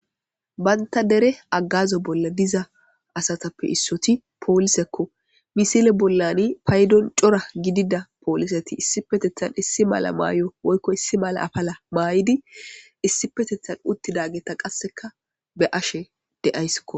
banta dere agazo bolla diza asatappe issoti poolisekko misile bollani paydon cora gidida pooliseti issipetethan issi mala maayo woykko issi mala afala mayidi issipetethan uttidageta qasseka be'ashe de'assikko